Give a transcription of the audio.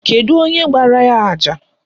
Kedu onye gbara ya àjà?